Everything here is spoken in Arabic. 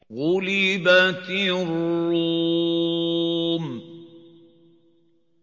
غُلِبَتِ الرُّومُ